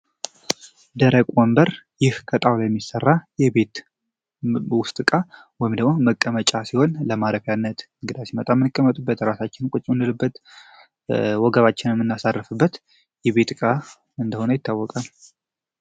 ደረቅ ወንበር ይህ ቀጠው ላይ የሚሰራ የቤት እቃ ወይም መቀመጫ ሲሆን ለማረፊያነት እንግዳ ሲመጣ የሚቀመጥበት ራሳችንን የምናሳርፍበት የቤት ዕቃ እንደሆነ ይታወቃል።